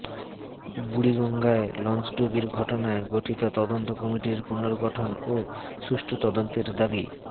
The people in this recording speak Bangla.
বুড়িগঙ্গায় লঞ্চডুবির ঘটনায় গঠিত তদন্ত কমিটির পুনর্গঠন ও সুষ্ঠু তদন্তের দাবি